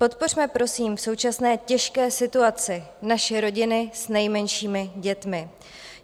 Podpořme, prosím, v současné těžké situaci naše rodiny s nejmenšími dětmi.